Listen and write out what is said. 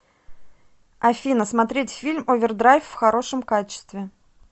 афина смотреть фильм овердрайв в хорошем качестве